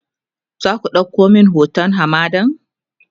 zaku ɗauko min hoton hamadan?